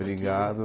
Brigado.